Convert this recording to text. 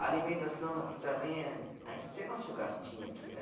A alimentação aqui também, a a gente tem nosso gastinho aqui, né?